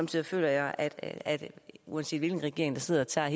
tider føler jeg at at uanset hvilken regering der sidder tager